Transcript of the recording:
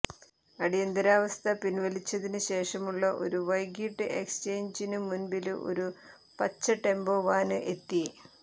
അടിയന്തിരാവസ്ഥ പിന്വലിച്ചതിന് ശേഷമുള്ള ഒരു വൈകിട്ട് എക്സ്ചേഞ്ചിനു മുമ്പില് ഒരു പച്ച ടെമ്പോ വാന് എത്തി